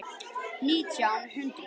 Nítján hundruð